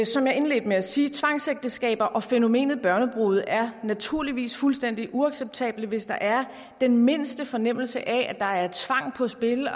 som jeg indledte med at sige tvangsægteskaber og fænomenet barnebrude er naturligvis fuldstændig uacceptable hvis der er den mindste fornemmelse af at der er tvang på spil og